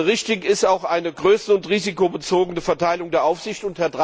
Richtig ist auch eine größere und risikobezogene Verteilung der Aufsicht.